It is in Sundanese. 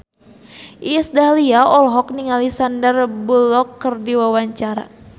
Iis Dahlia olohok ningali Sandar Bullock keur diwawancara